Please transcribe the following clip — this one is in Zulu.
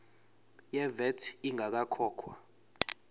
ye vat ingakakhokhwa